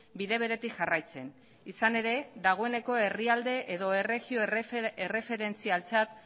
bide beretik jarraitzen izan ere dagoeneko herrialde edo erregio erreferentzialtzat